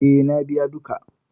E, na biya duka.